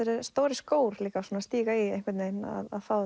stórir skór að stíga í einhvern veginn að fá